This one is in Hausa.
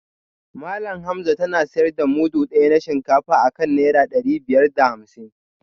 Malam Hamza tana sayar da mudu daya na shinkafa akan naira dari biyar da hamsin